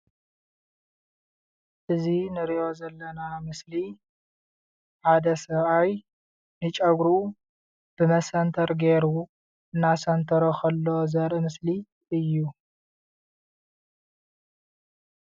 እዚ እንርእዮ ዘለና ምስሊ ሓደ ሰብኣይ ንጨጉሩ በመሰንተር ገይሩ እናሰንተሮ ከሎ ዘርኢ ምስሊ እዩ::